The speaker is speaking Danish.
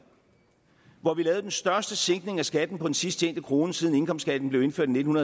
hvor vi lavede den største sænkning af skatten på den sidsttjente krone siden indkomstskatten blev indført i nitten